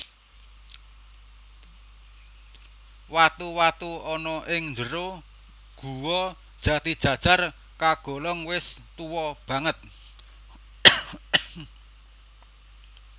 Watu watu ana ing njero Guwa Jatijajar kagolong wis tuwa banget